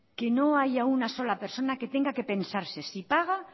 que no haya una sola persona que tenga que pensarse si paga